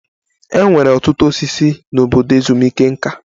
E nwere ọtụtụ osisi n'obodo ezumike nká.